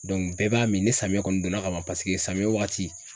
bɛɛ b'a min ni samiyɛ kɔni donna ka ban paseke samiyɛ waati